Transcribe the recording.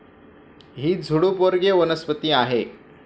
ही झुडूप वर्गीय वनस्पती आहे.